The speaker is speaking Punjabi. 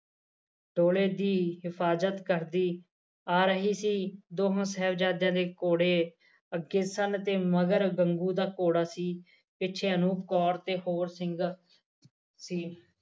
ਕੋਹਲੇ ਦੀ ਹਿਫਾਜਤ ਕਰਦੀ ਆ ਰਹੀ ਦੋਹਾਂ ਸਾਹਿਬਜਾਦਿਆ ਦੇ ਘੋੜੇ ਅੱਗੇ ਸਨ ਤੇ ਮਗਰ ਗੰਗੂ ਦਾ ਘੋੜਾ ਸੀ ਪਿੱਛੇ ਅਨੂਪ ਕੌਰ ਤੇ ਹੋਰ ਸਿੰਘ ਸੀ